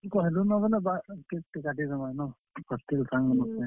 ତୁଇ କହେଲୁ ନ ବେଲେ cake ଟେ କାଟିଦେମା ନଁ hostel ସାଙ୍ଗ ମାନଙ୍କର ସାଙ୍ଗେ।